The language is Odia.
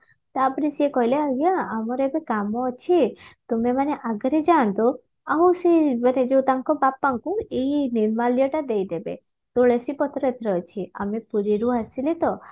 ତାପରେ ସେ କହିଲେ ଆଜ୍ଞା ଆମର ଏବେ କାମ ଅଛି ତୁମେମାନେ ଆଗରେ ଯାଅନ୍ତୁ ଆଉ ସେ ମାନେ ଯଉ ତାଙ୍କ ବାପାଙ୍କୁ ଏଇ ନିର୍ମାଲ୍ୟଟା ଦେଇଦେବେ ତୁଳସୀ ପତ୍ର ଏଥିରେ ଅଛି ଆମେ ପୁରୀରୁ ଆସିଲୁ ତ